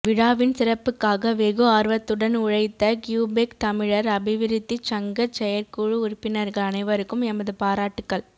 விழாவின் சிறப்புக்காக வெகு ஆர்வத்துடன் உழைத்த கியூபெக் தமிழர் அபிவிருத்திச் சங்கச் செயற்குழு உறுப்பினர்கள் அனைவருக்கும் எமது பாராட்டுக்கள்